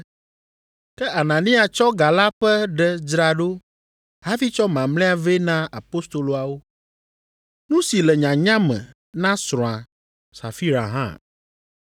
ke Anania tsɔ ga la ƒe ɖe dzra ɖo hafi tsɔ mamlɛa vɛ na apostoloawo, nu si le nyanya me na srɔ̃a, Safira hã.